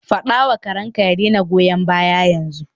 Faɗa wa karenka ya daina goyan baya yanzu.